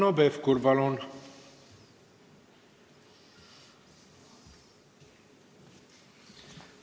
Hanno Pevkur, palun!